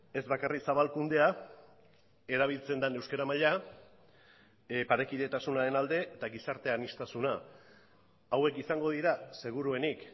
ez bakarrik zabalkundea erabiltzen den euskara maila parekidetasunaren alde eta gizarte aniztasuna hauek izango dira seguruenik